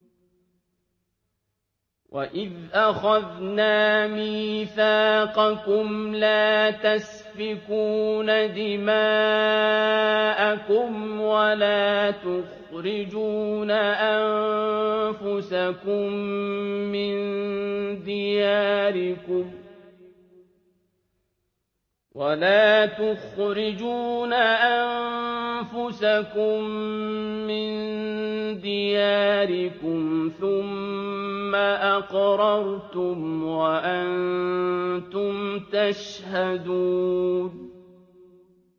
وَإِذْ أَخَذْنَا مِيثَاقَكُمْ لَا تَسْفِكُونَ دِمَاءَكُمْ وَلَا تُخْرِجُونَ أَنفُسَكُم مِّن دِيَارِكُمْ ثُمَّ أَقْرَرْتُمْ وَأَنتُمْ تَشْهَدُونَ